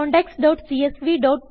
contacts CSV